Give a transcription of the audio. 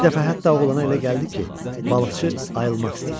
Bir dəfə hətta oğlana elə gəldi ki, balıqçı ayılmaq istəyir.